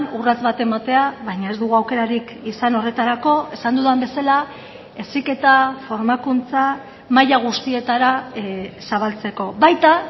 urrats bat ematea baina ez dugu aukerarik izan horretarako esan dudan bezala heziketa formakuntza maila guztietara zabaltzeko baita